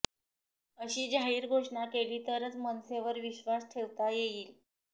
अशी जाहीर घोषणा केली तरच मनसेवर विश्वास ठेवता येईल